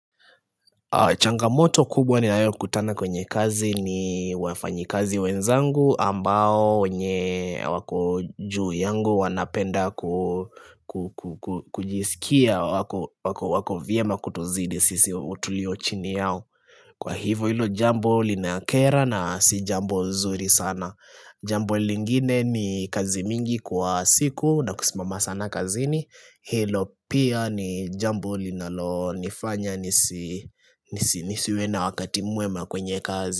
Changamoto kubwa ni nayo kutana kwenye kazi ni wafanyi kazi wenzangu ambao wenye wako juu yangu wanapenda kujisikia wako vyema kutuzidi sisi tulio chini yao Kwa hivo hilo jambo linakera na si jambo zuri sana Jambo lingine ni kazi mingi kwa siku na kusimama sana kazini Hilo pia ni jambo linalo nifanya nisiwe na wakati mwema kwenye kazi.